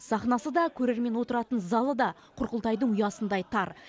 сахнасы да көрермен отыратын залы да құрқұлтайдың ұясындай тар